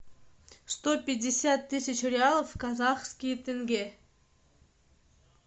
сто пятьдесят тысяч реалов в казахские тенге